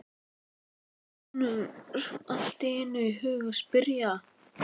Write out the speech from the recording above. datt honum svo allt í einu í hug að spyrja.